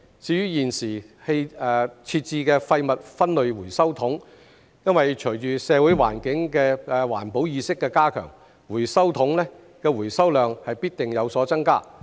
至於現時設置的廢物分類回收桶，隨着社會的環保意識加強，回收桶的回收量必定有所增加。